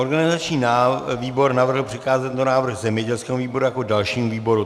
Organizační výbor navrhl přikázat tento návrh zemědělskému výboru jako dalšímu výboru.